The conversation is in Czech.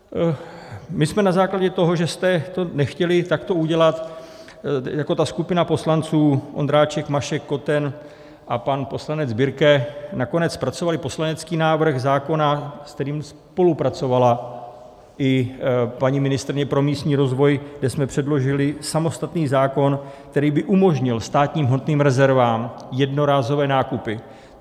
My jsme na základě toho, že jste to nechtěli takto udělat, jako ta skupina poslanců Ondráček, Mašek, Koten a pan poslanec Birke nakonec zpracovali poslanecký návrh zákona, s kterým spolupracovala i paní ministryně pro místní rozvoj, kde jsme předložili samostatný zákon, který by umožnil státním hmotným rezervám jednorázové nákupy.